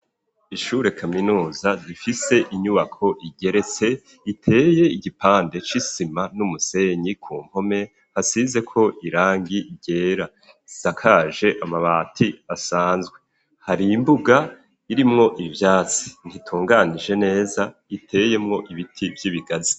Ishure kaminuza, zifise inyubako igerese iteye igipande c'isima n'umusenyi, kumpome hasize ko irangi rye ra, isakaje amabati asanzwe, hari imbuga irimwo ivyatsi ntitunganije neza, iteyemwo ibiti vy'ibigazi.